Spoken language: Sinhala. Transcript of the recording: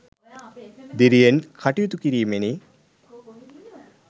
දිරියෙන් කටයුතු කිරීමෙනි.